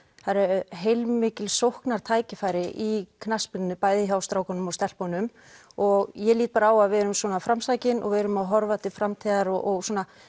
það eru heilmikil sóknartækifæri í knattspyrnunni bæði hjá strákum og stelpum og ég lít á að við erum svona framsækin og við erum að horfa til framtíðar og